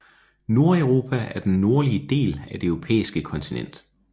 Nordeuropa er den nordlige del af det europæiske kontinent